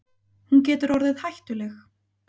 Hún getur orðið hættuleg.